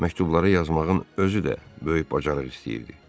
Məktubları yazmağın özü də böyük bacarıq istəyirdi.